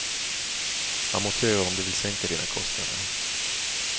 Amortera om du vill sänka dina kostnader.